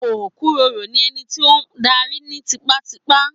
Okuroro ni ẹni tí o n darí ni tipatipa.